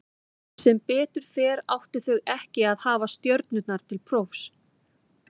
Sem betur fer áttu þau ekki að hafa stjörnurnar til prófs.